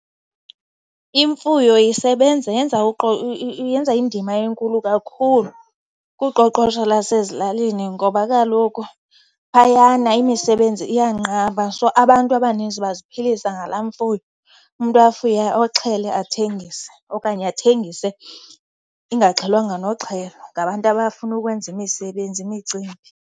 Imfuyo isebenza, yenza , yenza indima enkulu kakhulu kuqoqosho lasezilalini, ngoba kaloku phayana imisebenzi iyanqaba so abantu abaninzi baziphilisa ngalaa mfuyo. Umntu afuye, oxhele athengise okanye athengise ingaxhelwanga noxhelwa ngabantu abafuna ukwenza imisebenzi, imicimbi.